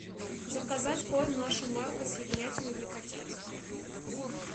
заказать корм наша марка с ягнятиной для котят